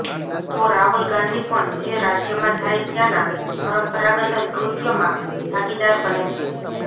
તો રાહુલ ગાંધી પણ જે રાજ્યમાં જાય ત્યાના પરંપરાગત નૃત્યમાં ભાગીદાર બને છે